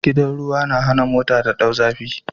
Gidan ruwa na hana mota ta dau zafi